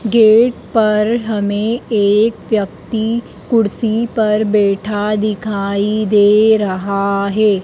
Gate पर हमें एक व्यक्ति कुर्सी पर बैठा दिखाई दे रहा है।